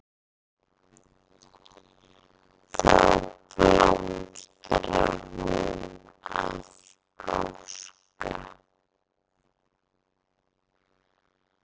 Þá blómstrar hún af gáska.